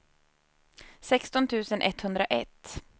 sexton tusen etthundraett